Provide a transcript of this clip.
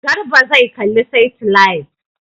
Garba zai kalla saitilait.